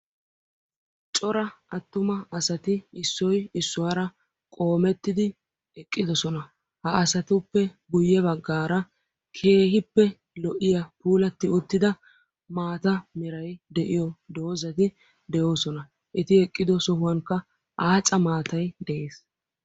Cora attuma asati Issoyi issuwara qoomettidi eqqidosona. Ha asatuppe guyye baggaara keehippe lo'iya puulatti uttida maata merayi de'iyo doozati de'oosona. Eti eqqido sohuwankka aaca maatayi de'es.